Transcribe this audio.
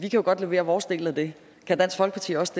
jo godt levere vores del af det kan dansk folkeparti også